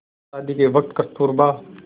शादी के वक़्त कस्तूरबा